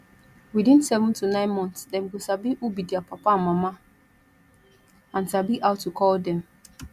within seven to nine months dem go sabi who be their papa and mama and sabi how to call dem